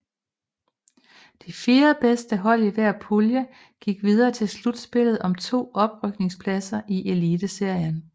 De fire bedste hold i hver pulje gik videre til slutspillet om to oprykningspladser til Eliteserien